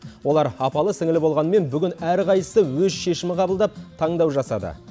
олар апалы сіңілі болғанымен бүгін әрқайсысы өз шешімін қабылдап таңдау жасады